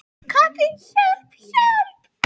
Kobbi, hjálp, hjálp.